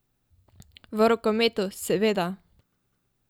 V rokometu, seveda.